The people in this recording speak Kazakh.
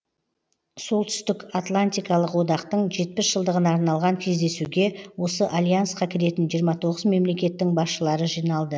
солтүстік атлантикалық одақтың жетпіс жылдығына арналған кездесуге осы альянсқа кіретін жиырма тоғыз мемлекеттің басшылары жиналды